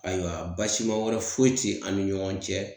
Ayiwa basima wɛrɛ foyi te an ni ɲɔgɔn cɛ